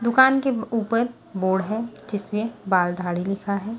दुकान के ऊपर बोर्ड है जिसमें बालधाड़ी लिखा है।